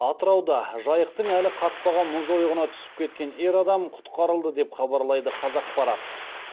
атырауда жайықтың әлі қатпаған мұз ойығына түсіп кеткен ер адам құтқарылды деп хабарлайды қазақпарат